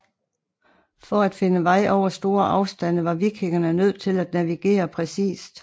For at finde vej over store afstande var vikingerne nødt til at navigere præcist